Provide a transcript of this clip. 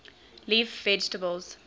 leaf vegetables